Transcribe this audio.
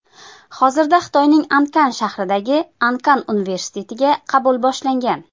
Hozirda Xitoyning Ankan shahridagi Ankan universitetiga qabul boshlangan!